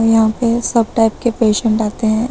यहां पे सब टाइप के पेशेंट आते हैं।